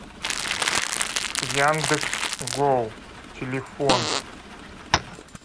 яндекс гоу телефон